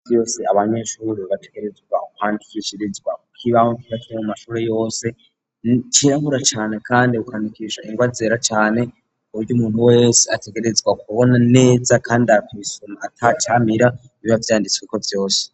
Iminsi yose abanyeshure bategerezwa kwandikishirizwa ku kibaho kimanitse mu mashure yose cirabura cane kandi ukandikisha ingwa zera cane kuburyo umuntu wese ategerezwa kubona neza kandi akabisoma atacamira biba vyanditsweko vyose.